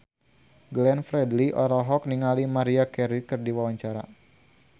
Glenn Fredly olohok ningali Maria Carey keur diwawancara